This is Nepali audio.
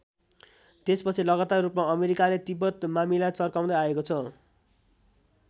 त्यसपछि लगातार रूपमा अमेरिकाले तिब्बत मामिला चर्काउँदै आएको छ।